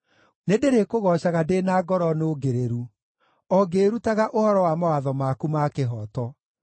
Nĩndĩrĩkũgoocaga ndĩ na ngoro nũngĩrĩru, o ngĩĩrutaga ũhoro wa mawatho maku ma kĩhooto.